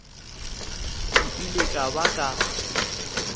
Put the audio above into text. ke ile ka ba ka